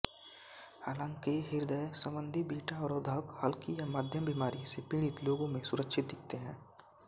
हालांकिहृदय संबंधी बीटा अवरोधक हल्की या मध्यम बीमारी से पीड़ित लोगों में सुरक्षित दिखते हैं